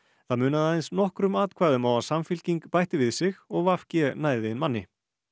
það munaði aðeins nokkrum atkvæðum á að Samfylking bætti við sig og v g næði inn manni